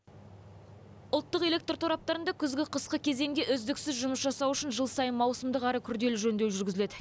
ұлттық электр тораптарында күзгі қысқы кезеңде үздіксіз жұмыс жасау үшін жыл сайын маусымдық әрі күрделі жөндеу жүргізіледі